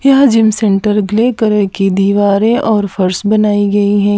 यह gym centre clay करह grey colour की दीवारें और फर्श बनाई गईं हैं।